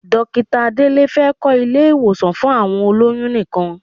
Dókítà Délé fẹ́ kọ́ ilé-ìwọ̀sàn fún àwọn olóyún nìkan.